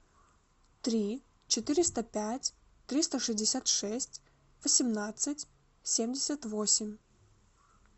три четыреста пять триста шестьдесят шесть восемнадцать семьдесят восемь